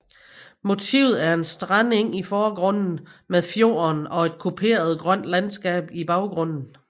Motivet er en strandeng i forgrunden med fjorden og et kuperet grønt landskab i baggrunden